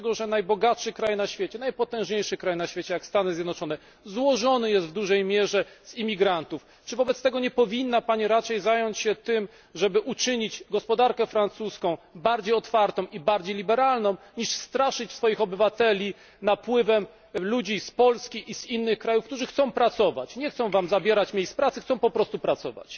Najbogatszy kraj na świecie, najpotężniejszy kraj na świecie, jak Stany Zjednoczone, złożony jest w dużej mierze z imigrantów. Czy wobec tego nie powinna Pani raczej zająć się tym, żeby uczynić gospodarkę francuską bardziej otwartą i bardziej liberalną, niż straszyć swoich obywateli napływem ludzi z Polski i z innych krajów, którzy chcą pracować, nie chcą Wam zabierać miejsc pracy, chcą po prostu pracować?